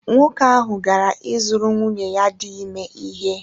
Nwoke ahụ gara ịzụrụ nwunye ya dị ime ihe